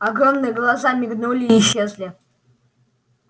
огромные глаза мигнули и исчезли